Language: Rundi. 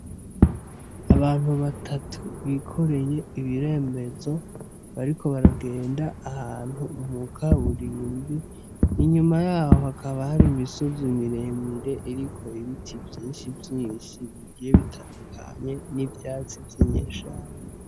Abantu batatu bikoreye ibirembezo bariko baragenda ahantu mu kaburimbo, inyuma yaho hakaba hari imisozi miremire iriko ibiti vyinshi vyinshi bigiye bitandukanye n'ivyatsi vyo mw'ishamba.